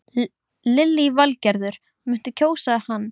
Lillý Valgerður: Muntu kjósa hann?